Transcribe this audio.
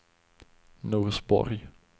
Norsborg